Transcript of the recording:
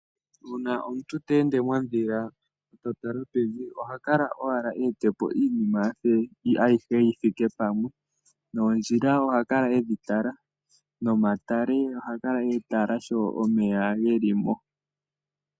Una omuntu te ende mondhila e ta tala pevi oha kala owala ewete po iinima ayihe yi thike pamwe noondjila oha kala edhi tala, nomatale oha kala e ga tala sho omeya ge li mo.